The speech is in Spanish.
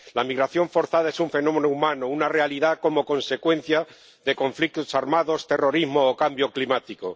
La migración forzada es un fenómeno humano, una realidad como consecuencia de conflictos armados, terrorismo o cambio climático.